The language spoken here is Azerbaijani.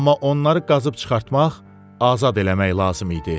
Amma onları qazıb çıxartmaq, azad eləmək lazım idi.